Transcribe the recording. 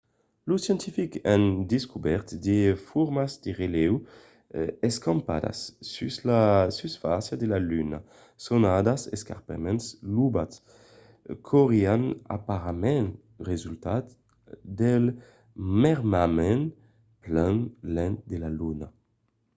los scientifics an descobèrt de formas de relèu escampadas sus la susfàcia de la luna sonadas escarpaments lobats qu'aurián aparentament resultat del mermament plan lent de la luna